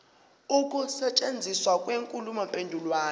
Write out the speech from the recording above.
ukusetshenziswa kwenkulumo mpendulwano